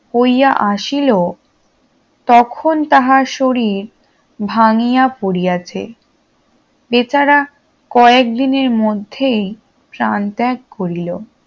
হইয়া আসিল তখন তাহার শরীর ভাঙ্গিয়া পড়িয়াছে বেচারা কয়েকদিনের মধ্যেই প্রাণত্যাগ করিল